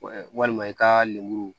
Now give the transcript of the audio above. walima i ka lemuru